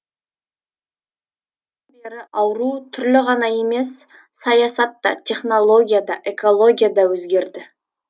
содан бері ауру түрлері ғана емес саясат та технология да экология да өзгерді